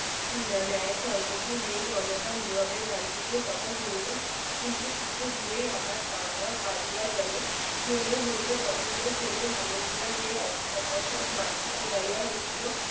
নেয় সংহতি নেই জনতা নীরবে গান্ধীজীর কথা শুনিল কিন্তু কিছু দূরেই আবার দাঙ্গা বাজিয়া গেল মনে হইল জঘন্য শ্রেণীর মানুষগুলা যে অকস্মাৎ মাটি কুড়াইয় উঠিল